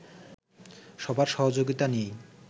সবার সহযোগিতা নিয়েই